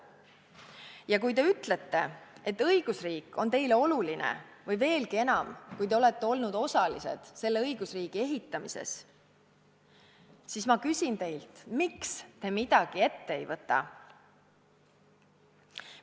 Ja kui te ütlete, et õigusriik on teile oluline või, veelgi enam, kui te olete olnud osalised selle õigusriigi ehitamises, siis ma küsin teilt: miks te midagi ette ei võta?